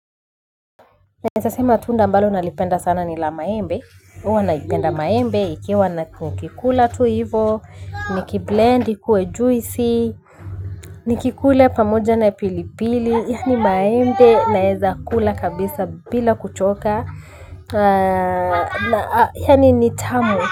Naeza sema tunda ambalo nalipenda sana ni la maembe huwa napenda maembe nikikula ikiwa hivyo nikiblend ikuwe juisi nikikula pamoja na pilipili yaani maembe naeza kula kabisa bila kuchoka yaani ni tamu.